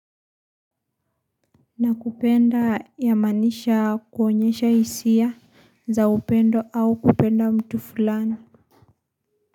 Na kupenda yamaanisha kuonyesha hisia za upendo au kupenda mtu fulani.